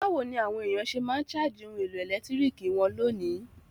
Bàwoni àwon èyàn se ma n charge oun èlò ẹ̀lẹ́ntiriki won lónìí?